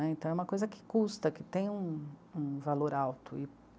Né? Então é uma coisa que custa, que tem um... um valor alto.